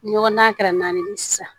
Ni ɲɔgɔn na kɛra naani ye sisan